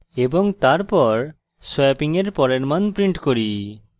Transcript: এবং তারপর swapping এর পরের মান print করি